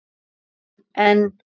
En. en.